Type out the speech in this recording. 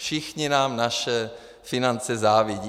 Všichni nám naše finance závidí.